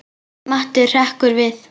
Matti hrekkur við.